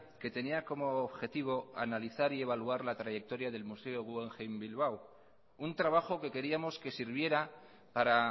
que tenía como objetivo analizar y evaluar la trayectoria del museo guggenheim bilbao un trabajo que queríamos que sirviera para